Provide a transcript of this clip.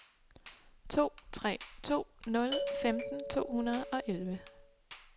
to tre to nul femten to hundrede og elleve